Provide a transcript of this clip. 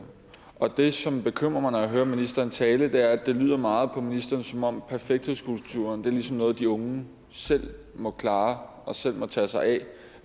og det som bekymrer mig når jeg hører ministeren tale er at det lyder meget på ministeren som om perfekthedskulturen ligesom er noget de unge selv må klare og selv må tage sig af